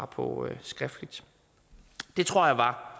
på skriftligt det tror jeg var